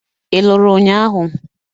Ị lụrụ ụnyahụ?